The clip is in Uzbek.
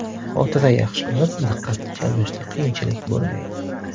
Xotira yaxshilanib, diqqatni jamlashda qiyinchilik bo‘lmaydi.